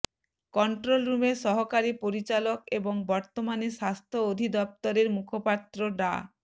control রুমের সহকারী পরিচালক এবং বর্তমানে স্বাস্থ্য অধিদফতরের মুখপাত্র ডা